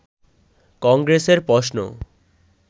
কংগ্রেসের প্রশ্ন